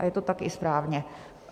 A je to tak i správně.